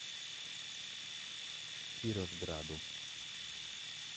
кировграду